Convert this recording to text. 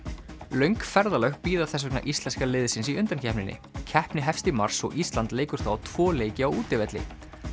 löng ferðalög bíða þess vegna íslenska liðsins í undankeppninni keppni hefst í mars og Ísland leikur þá tvo leiki á útivelli